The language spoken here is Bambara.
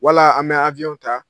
Wala an bɛ awiyɔn ta!